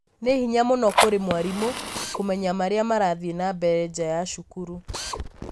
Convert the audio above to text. nĩ hinya mũno kũrĩ mwarimũ kũũmenya maria marathiĩ na mbere nja ya cukuru.